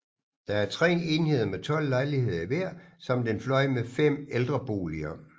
Der er 3 enheder med 12 lejligheder i hver samt en fløj med 5 ældreboliger